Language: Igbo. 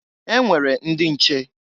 E nwere ndị nche!